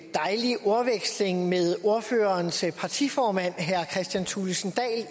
dejlig ordveksling med ordførerens partiformand herre kristian thulesen